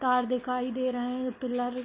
Car दिखाई दे रहे हैं। पिलर --